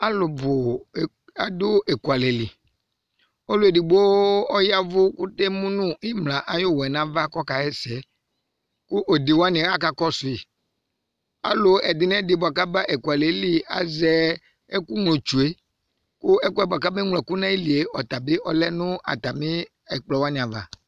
Alubu adu ekualɛli Ɔluedigbo emu nu imla ayuyɔ kɔkayɛsɛ Ku onewani aka kɔsui Alu onewani kaba ekualɛ azɛ ɛku glotsu Ku ɛkue buaku ame gloku nayilie ɔle nu ɛkplɔava